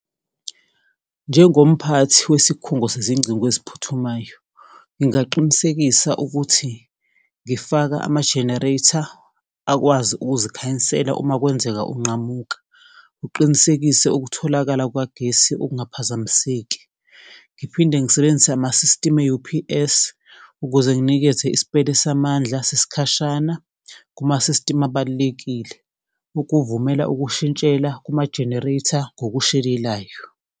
Njengomphathi wesikhungo sezingcingo eziphuthumayo, ngingaqinisekisa ukuthi ngifaka ama-generator akwazi ukuzikhanyisela uma kwenzeka unqamuka, uqinisekise ukutholakala kukagesi okungaphazamiseki. Ngiphinde ngisebenzise amasisitimu e-U_P_S ukuze nginikethe isipele samandla sesikhashana kumasisitimu abalulekile, ukuvumela ukushintshela kuma-generator ngokushelelayo.